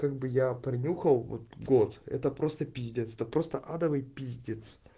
как бы я пронюхал вот год это просто пиздец это просто адовый пиздец